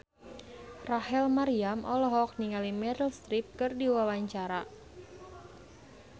Rachel Maryam olohok ningali Meryl Streep keur diwawancara